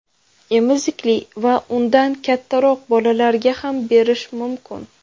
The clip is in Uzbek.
Emizikli va undan kattaroq bolalarga ham berish mumkin.